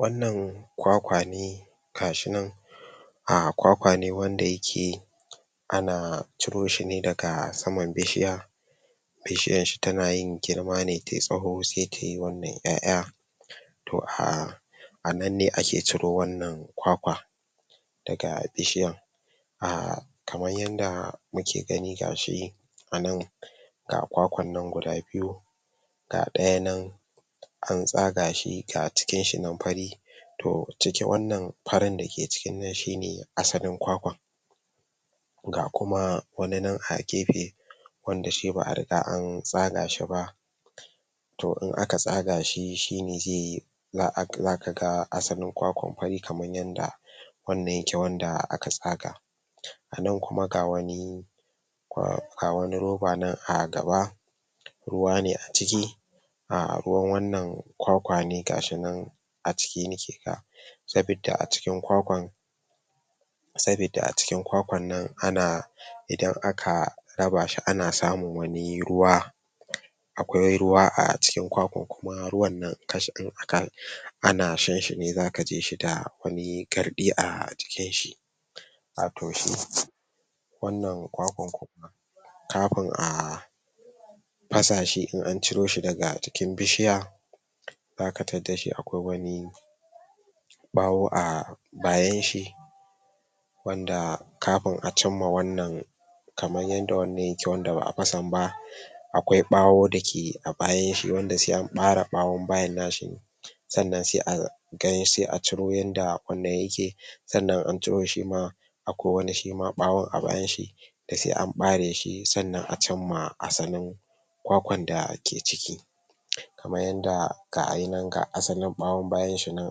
wannan ƙwaƙwane gashinan um ƙwaƙwane wanda yake ana ciro shine daga saman bishiya bishiyan shi tana yin girmane tayi tsawo sai tayi wannan ƴa'ƴa to um a nan ne ake ciro wannan ƙwaƙwa daga bishiyan um kaman yanda muke gani gashi anan ga ƙwaƙwan nan guda biyu ga ɗaya nan antsaga shi ga cikin shi nan fari to ciki wannan fari dake cikin nan shine asalin ƙwaƙwan ga kuma wani nan a gefe wanda shi ba a riga antsagashi ba to in aka tsagashi shine zai yi zaka ga asalin ƙwaƙwan fari kamar yanda wannan yake wanda aka tsaga anan kuma ga wani kwa ga wani ruba nan a gaba ruwa ne a cikin ruwan wannan ƙwaƙwa ne gashinan a ciki nake ga sabidda a cikin ƙwaƙwan sabidda a cikin ƙwaƙwannan ana idan aka rabashi ana samun wani ruwa aƙwai ruwa a cikin ƙwaƙwan kuma ruwan nan ana shanshi ne zaka jishi da wani garɗi a jikinshi a to shi wannan ƙwaƙwan kuma kafin a fasashi in anciro shi daga jikin bishiya zaka taddashi aƙwai wani ɓawo a bayanshi wanda kafin a cimma wannan kaman yanda wannan yake wanda ba a fasan ba aƙwai ɓawo dake a bayanshi wanda sai anɓare ɓawan bayan nashi ne sannan sai a gani sai a ciro yanda ƙwannan yake sannan in anciro shi shima aƙwai wani shima ɓawan a bayanshi da sai an ɓareshi sannan a cinma asalin ƙwaƙwan ƙwaƙwan dake ciki kaman yanda gayinan ga asalin ɓawan bayan shi nan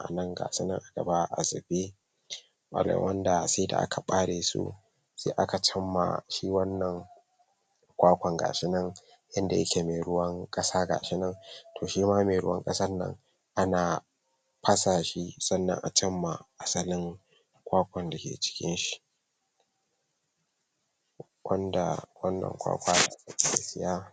anan gasunan a gaba a zube sai da aka ɓaresu sai aka cinma shi wannan ƙwaƙwan gashinan inda yake me ruwan ƙasa gashinan to shima me ruwan ƙasan nan ana ana fasashi sannan a cinma asalin ƙwaƙwan dake cikin shi wanda wannan ƙwaƙwa zaka iya siya